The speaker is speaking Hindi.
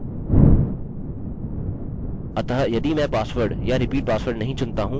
अतः मैं लिखूँगा password is equal to md5 of password